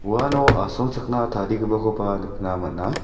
uano asongchakna tarigipakoba nikna man·a.